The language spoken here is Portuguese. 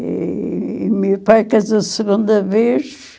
E o meu pai fez a segunda vez.